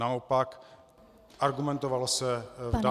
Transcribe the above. Naopak, argumentovalo se v dané době -